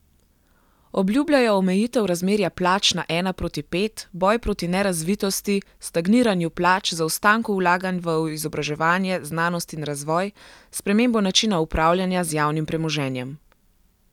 Obljubljajo omejitev razmerja plač na ena proti pet, boj proti nerazvitosti, stagniranju plač, zaostanku vlaganj v izobraževanje, znanost in razvoj, spremembo načina upravljanja z javnim premoženjem.